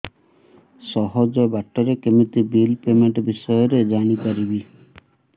ସହଜ ବାଟ ରେ କେମିତି ବିଲ୍ ପେମେଣ୍ଟ ବିଷୟ ରେ ଜାଣି ପାରିବି